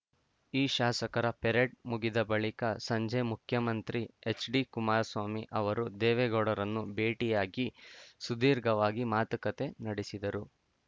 ಈ ಶಾಸಕರ ಪೆರೇಡ್‌ ಮುಗಿದ ಬಳಿಕ ಸಂಜೆ ಮುಖ್ಯಮಂತ್ರಿ ಹೆಚ್‌ಡಿಕುಮಾರಸ್ವಾಮಿ ಅವರು ದೇವೇಗೌಡರನ್ನು ಭೇಟಿಯಾಗಿ ಸುದೀರ್ಘವಾಗಿ ಮಾತುಕತೆ ನಡೆಸಿದರು